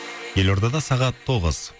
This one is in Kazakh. елордада сағат тоғыз